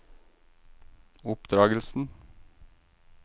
oppdragelsen